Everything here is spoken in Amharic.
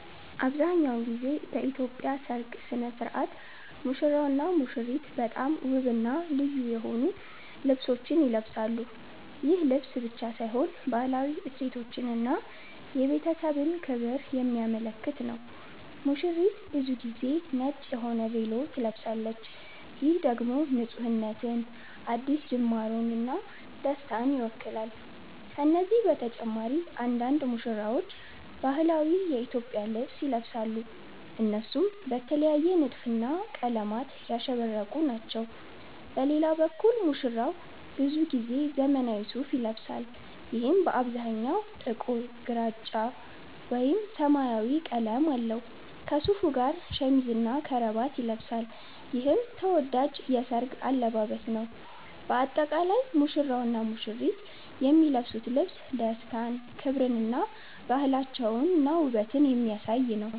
አብዛሀኛውን ጊዜ በኢትዮጵያ ሠርግ ሥነ ሥርዓት ሙሽራውና ሙሽሪት በጣም ውብና ልዩ የሆኑ ልብሶችን ይለብሳሉ። ይህ ልብስ ብቻ ሳይሆን ባህላዊ እሴቶችን እና የቤተሰብ ክብርን የሚያመለክት ነው። ሙሽሪት ብዙ ጊዜ ነጭ የሆነ ቬሎ ትለብሳለች፣ ይህም ደግሞ ንፁህነትን፣ አዲስ ጅማርን እና ደስታን ይወክላል። ከነዚህ በተጨማሪ አንዳንድ ሙሽራዎች ባህላዊ የኢትዮጵያ ልብስ ይለብሳሉ፣ እነሱም በተለየ ንድፍና ቀለማት ያሸበረቁ ናቸው። በሌላ በኩል ሙሽራው ብዙ ጊዜ ዘመናዊ ሱፋ ይለብሳል፣ ይህም በአብዛኛው ጥቁር፣ ግራጫ ወይም ሰማያዊ ቀለም አለው። ከሱፉ ጋር ሸሚዝና ከረባት ይለብሳል፣ ይህም ተወዳጅ የሠርግ አለባበስ ነው። በአጠቃላይ ሙሽራውና ሙሽሪት የሚለብሱት ልብስ ደስታን፣ ክብርን እና ባህላቸውንና ውበትን የሚያሳይ ነው።